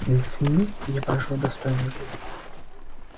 для свиньи я прожил достойную жизнь